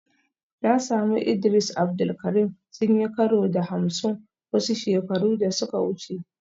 Na sami Idris Abdul Karim sun yi karo da Hamsin wasu shekaru da suka wuce